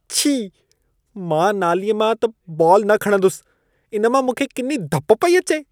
छी! मां नालीअ मां त बॉलु न खणंदुसि। इन मां मूंखे किनी धप पई अचे-।